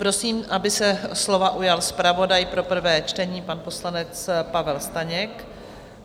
Prosím, aby se slova ujal zpravodaj pro prvé čtení, pan poslanec Pavel Staněk.